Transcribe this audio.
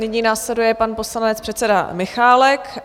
Nyní následuje pan poslanec, předseda Michálek.